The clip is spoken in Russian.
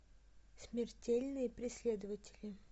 смертельные преследователи